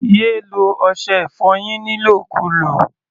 Yé lo ọṣẹ-ìfọyín nílòkulò!